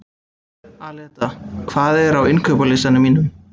Aleta, hvað er á innkaupalistanum mínum?